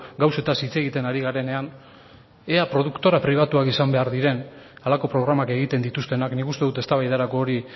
gauzetaz hitz egiten ari garenean ea produktora pribatuak izan behar diren halako programak egiten dituztenak nik uste dut eztabaidarako hori